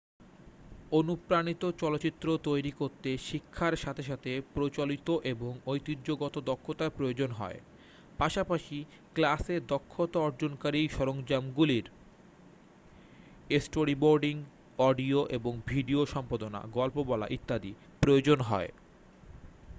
অনুপ্রাণিত চলচ্চিত্র তৈরি করতে শিক্ষার সাথে সাথে প্রচলিত এবং ঐতিহ্যগত দক্ষতার প্রয়োজন হয় পাশাপাশি ক্লাসে দক্ষতা অর্জনকারী সরঞ্জামগুলির স্টোরিবোর্ডিং অডিও এবং ভিডিও সম্পাদনা গল্প বলা ইত্যাদি প্রয়োজন হয়